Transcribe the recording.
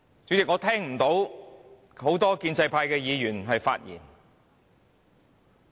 主席，今天只有少數建制派議員發言。